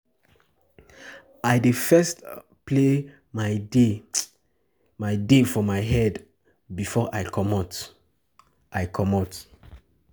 I dey first um plan my day for my head um before I comot. um I comot. um